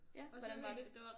Ja hvordan var det